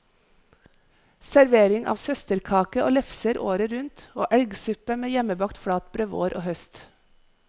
Servering av søsterkake og lefser året rundt, og elgsuppe med hjemmebakt flatbrød vår og høst.